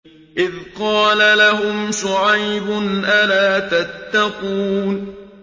إِذْ قَالَ لَهُمْ شُعَيْبٌ أَلَا تَتَّقُونَ